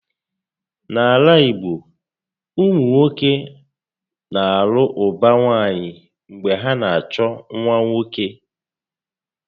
N'ala igbo, ụmụnwoke na alụ ụba nwaanyị mgbe ha na achọ nwa nwoke